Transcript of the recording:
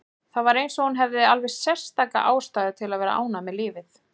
Það var eins og hún hefði alveg sérstaka ástæðu til að vera ánægð með lífið.